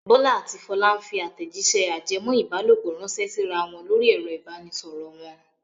Bọ́lá àti Fọlá ń fi àtẹ̀jíṣẹ́ ajẹmọ́-ìbálòpọ̀ ránṣẹ́ síra wọn lórí ẹ̀rọ ìbanisọ̀rọ̀ wọn.